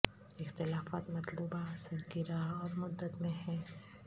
اختلافات مطلوبہ اثر کی راہ اور مدت میں ہیں